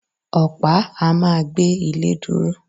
Ọ̀pá a ma gbé ilé dúró